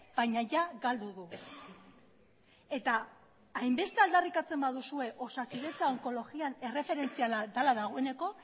baina ia galdu du eta hainbeste aldarrikatzen baduzue osakidetza onkologian erreferentziala dela dagoeneko